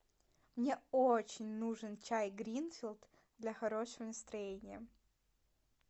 мне очень нужен чай гринфилд для хорошего настроения